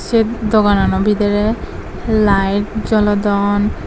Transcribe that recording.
et doganano bidirey laet jolodon.